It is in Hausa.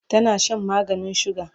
tana Shan maganin suga